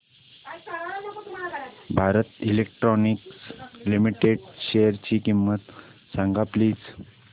Bharat electronics limited शेअरची किंमत सांगा प्लीज